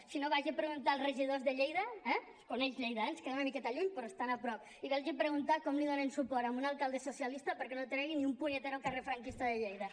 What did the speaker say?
si no vagi a preguntar als regidors de lleida eh coneix lleida eh ens queda una miqueta lluny però estan a prop i vagi a preguntar com li donen suport a un alcalde socialista perquè no tregui ni un punyetero carrer franquista de lleida